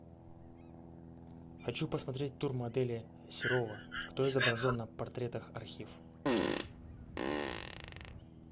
хочу посмотреть тур модели серова кто изображен на портретах архив